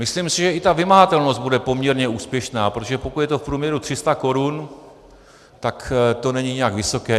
Myslím si, že i ta vymahatelnost bude poměrně úspěšná, protože pokud je to v průměru 300 korun, tak to není nijak vysoké.